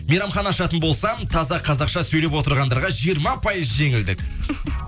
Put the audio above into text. мейрамхана ашатын болсам таза қазақша сөйлеп отырғандарға жиырма пайыз жеңілдік